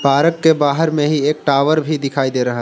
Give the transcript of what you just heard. park के बाहर में ही एक टावर भी दिखाई दे रहा--